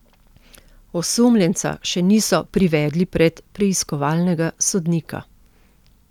Osumljenca še niso privedli pred preiskovalnega sodnika.